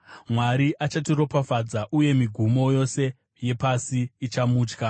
Mwari achatiropafadza, uye migumo yose yepasi ichamutya.